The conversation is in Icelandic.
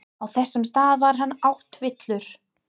Á þessum stað var hann áttavilltur.